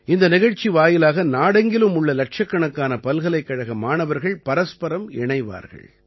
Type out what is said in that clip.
இந்த நிகழ்ச்சி வாயிலாக நாடெங்கிலும் உள்ள இலட்சக்கணக்கான பல்கலைக்கழக மாணவர்கள் பரஸ்பரம் இணைவார்கள்